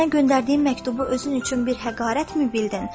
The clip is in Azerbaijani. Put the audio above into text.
Sənə göndərdiyim məktubu özün üçün bir həqarətmi bildin?